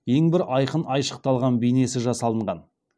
ең бір айқын айшықталған бейнесі жасалынған